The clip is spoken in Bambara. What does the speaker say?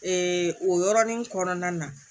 o yɔrɔnin kɔnɔna na